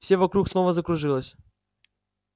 все вокруг снова закружилось